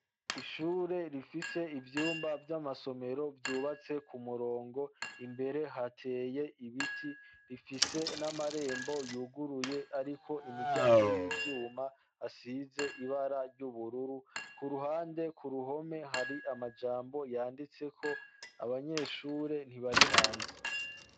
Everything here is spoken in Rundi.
Ishure rifise ivyumba vy'amasomero vyubatse ku murongo imbere hateye ibiti rifise n'amarembo yuguruye, ariko imiryango y'ivyuma asize ibara ry'ubururu ku ruhande ku ruhome hari amajambo yanditseko, abanyeshure ntibari ihanze.